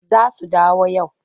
Za su dawo yau.